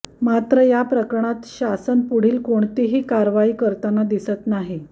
मात्र या प्रकरणात शासन पुढील कोणतीही कारवाई करताना दिसत नाही